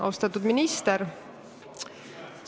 Austatud minister!